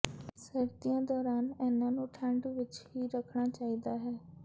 ਸਰਦੀਆਂ ਦੌਰਾਨ ਇਨ੍ਹਾਂ ਨੂੰ ਠੰਡੇ ਵਿਚ ਹੀ ਰੱਖਣਾ ਚਾਹੀਦਾ ਹੈ